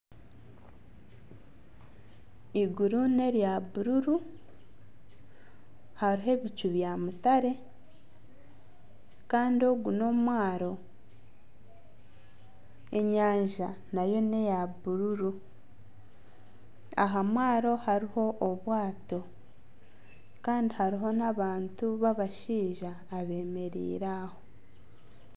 Iguru nerya bururu. Hariho ebicu bya mutare Kandi ogu ni omwaaro. Enyaja nayo neya bururu. Aha mwaaro hariho obwaato Kandi hariho n'abantu b'abashaija abemereire aho.